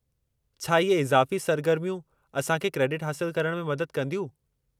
छा इहे इज़ाफ़ी सरगर्मियूं असां खे क्रेडिट हासिलु करण में मदद कंदियूं?